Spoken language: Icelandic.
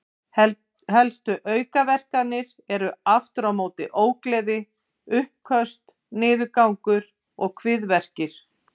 Helstu aukaverkanir eru aftur á móti ógleði, uppköst, niðurgangur og kviðverkir.